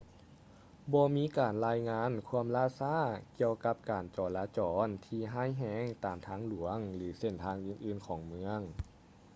ບໍ່ມີການລາຍງານຄວາມລ່າຊ້າກ່ຽວກັບການຈໍລະຈອນທີ່ຮ້າຍແຮງຕາມທາງຫຼວງ ຫຼື ເສັ້ນທາງອື່ນໆຂອງເມືອງ